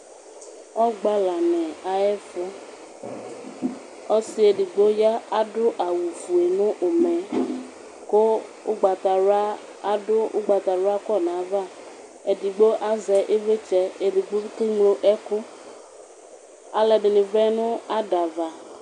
Ɔgbalani ayʋ ɛfʋ ɔsi edigbo ɔya adʋ awʋfue nʋ ʋmɛ kʋ adʋ ʋgbatawla kɔnʋ ayʋ ava Edigbo azɛ ivlitsɛ kʋ ɔkeŋlo ɛkʋ, alʋɛdini vlɛnʋ adava